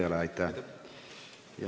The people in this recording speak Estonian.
Aitäh!